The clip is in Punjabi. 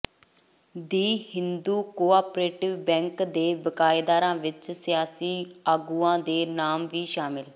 ਦੀ ਹਿੰਦੂ ਕੋਆਪ੍ਰੇਟਿਵ ਬੈਂਕ ਦੇ ਬਕਾਏਦਾਰਾਂ ਵਿੱਚ ਸਿਆਸੀ ਆਗੂਆਂ ਦੇ ਨਾਮ ਵੀ ਸ਼ਾਮਲ